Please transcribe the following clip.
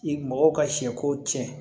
I mɔgɔw ka sɛko tiɲɛ